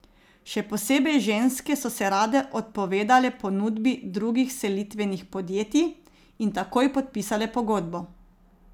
Še posebej ženske so se rade odpovedale ponudbi drugih selitvenih podjetij in takoj podpisale pogodbo.